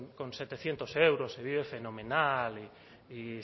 con setecientos euros se vive fenomenal y